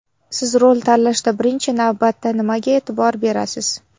Siz rol tanlashda birinchi navbatda nimaga e’tibor berasiz?